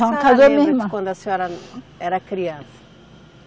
Quando a senhora era criança?